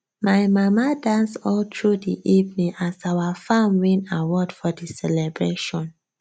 my mama dance all through di evening as our farm win award for di celebration